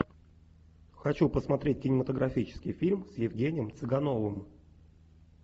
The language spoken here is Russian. хочу посмотреть кинематографический фильм с евгением цыгановым